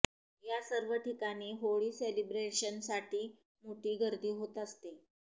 या सर्व ठिकाणी होळी सेलिब्रेशनसाठी मोठी गर्दी होत असते